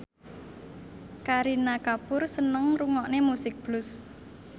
Kareena Kapoor seneng ngrungokne musik blues